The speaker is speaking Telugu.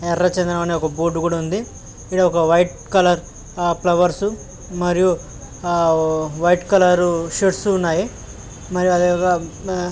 ఎర్రచందనం అనే ఒక బోర్డు కూడా ఉంది ఈడ ఒక వైట్ కలర్ ఆఆ ఫ్లవర్స్ మరియు ఆ వైట్ కలర్ షేడ్స్ ఉన్నాయి మరియు అదే ఆఆ--